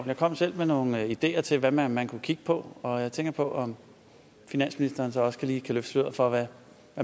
jeg kom selv med nogle ideer til hvad man man kunne kigge på og jeg tænker på om finansministeren så også lige kan løfte sløret for hvad